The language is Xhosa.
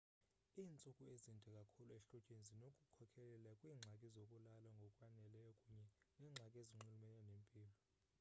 iintsuku ezinde kakhulu ehlotyeni zinokukhokelela kwiingxaki zokulala ngokwaneleyo kunye neengxaki ezinxulumene nempilo